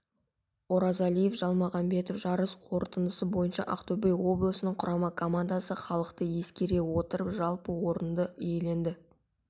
оразалиев жалмағанбетов жарыс қорытындысы бойынша ақтөбе облысының құрама командасы халықты ескере отырып жалпы орынды иеленді